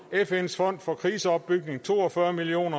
fns fond for kriseopbygning to og fyrre million